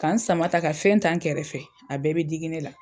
K'a n sama ta ka fɛn ta n kɛrɛfɛ, a bɛɛ bɛ digi ne la.